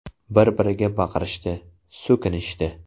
Bir-biriga baqirishdi, so‘kinishdi.